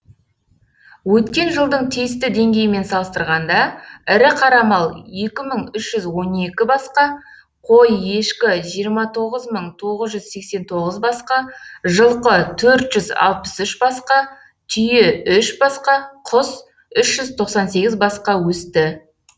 өткен жылдың тиісті деңгейімен салыстырғанда ірі қара мал екі мың үш жүз он екі басқа қой ешкі жиырма тоғыз мың тоғыз жүз сексен тоғыз басқа жылқы төрт жүз алпыс үш басқа түйе үш басқа құс үш жүз тоқсан сегіз басқа өсті